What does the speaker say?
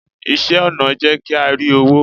iṣẹ ọnà n jé kí a ri owo